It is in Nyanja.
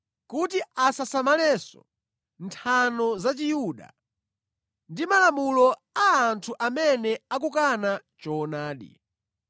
kuti asasamalenso nthano za Chiyuda, ndi malamulo a anthu amene akukana choonadi.